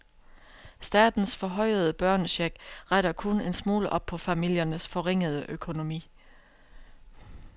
Statens forhøjede børnecheck retter kun en smule op på familiernes forringede økonomi.